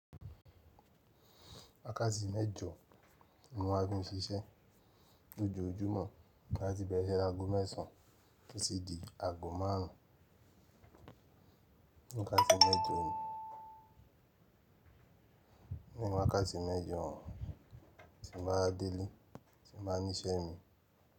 Wákàtí mẹ́jọ ní mo ma fi ń ṣiṣẹ́ lójoojúmọ́ láti bẹ̀rẹ̀ ise lagọ mẹ́sàn án tì di agọ márùn ún. Wakati mejo ni wákàtí mẹ́jọ ti ń bá delé, tí ń bá ni iṣẹ́ mi.